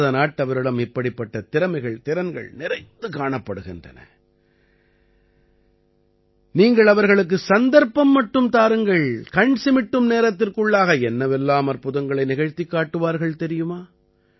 பாரத நாட்டவரிடம் இப்படிப்பட்ட திறமைகள்திறன்கள் நிறைந்து காணப்படுகிறது நீங்கள் அவர்களுக்குச் சந்தர்ப்பம் மட்டும் தாருங்கள் கண் சிமிட்டும் நேரத்திற்குள்ளாக என்னவெல்லாம் அற்புதங்களை நிகழ்த்திக் காட்டுவார்கள் தெரியுமா